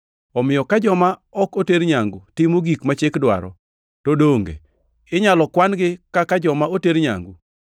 Omiyo ka joma ok oter nyangu timo gik ma Chik dwaro, to donge inyalo kwan-gi kaka joma oter nyangu?